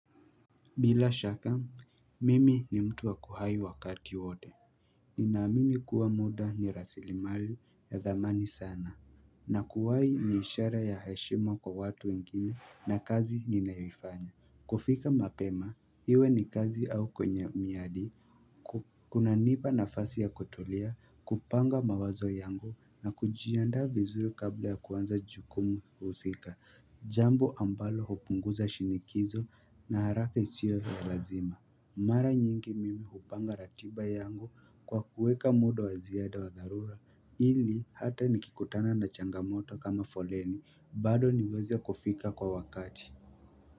Bila shaka, mimi ni mtu wa kuhai wakati wote. Ninaamini kuwa muda ni rasilimali ya dhamani sana. Na kuwai ni ishara ya heshema kwa watu wengine na kazi ninayoifanya. Kufika mapema, iwe ni kazi au kwenye miadi. Kunanipa nafasi ya kutulia, kupanga mawazo yangu na kujianda vizuri kabla ya kuanza jukumu husika. Jambo ambalo hupunguza shinikizo na haraka isiyo ya lazima Mara nyingi mimi hupanga ratiba yangu kwa kuweka muda wa ziada wa dharura ili hata nikikutana na changamoto kama foleni bado niweze kufika kwa wakati.